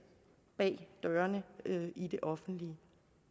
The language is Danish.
bag dørene i det offentlige